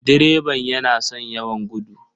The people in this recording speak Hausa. Direban yana son yawan gudu.